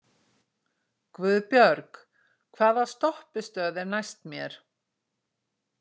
Guðbjörg, hvaða stoppistöð er næst mér?